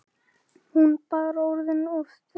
Hún bara orðin of þreytt.